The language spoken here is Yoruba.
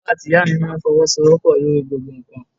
Bàbá àti Ìyá mi máa ń fọwọ́sowopo lórí gbogbo nǹkan.